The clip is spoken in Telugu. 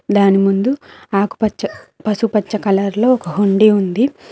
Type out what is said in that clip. దాని ముందు ఆకుపచ్చ పసుపు కలర్ లో ఒక హుండీ ఉంది.